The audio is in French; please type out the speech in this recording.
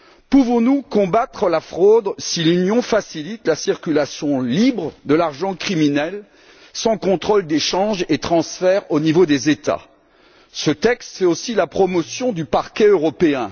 Pouvons nous combattre la fraude si l'Union facilite la circulation libre de l'argent criminel sans contrôle des changes et transferts au niveau des États? Ce texte fait aussi la promotion du Parquet européen.